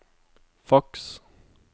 faks